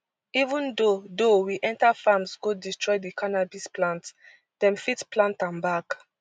even though though we enta farms go destroy di cannabis plants dem fit plant am back